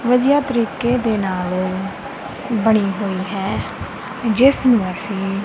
ਵਧੀਆ ਤਰੀਕੇ ਦੇ ਨਾਲ ਬਣੀ ਹੋਈ ਹੈ ਜਿਸਨੂੰ ਅੱਸੀ--